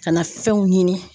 Ka na fɛnw ɲini.